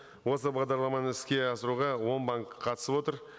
осы бағдарламаны іске асыруға он банк қатысып отыр